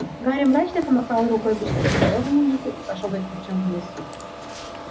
гарри мрачно помахал рукой почти безголовому нику и пошёл за филчем вниз